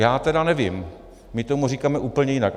Já tedy nevím, my tomu říkáme úplně jinak.